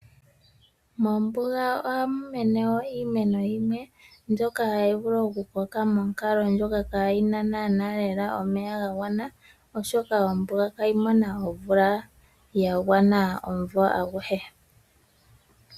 Mombuga ohamu mene wo iimeno yimwe mbyoka hayi vulu okukoka monkalo ndjoka kaayi na naanaa lela omeya ga gwana, oshoka ombuga ihayi mono omeya ga gwana omumvo aguhe.